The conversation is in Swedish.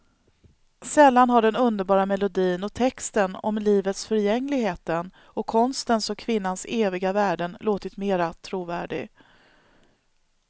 Sällan har den underbara melodin och texten om livets förgängligheten och konstens och kvinnans eviga värden låtit mera trovärdig.